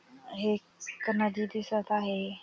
हे एक नदी दिसत आहे.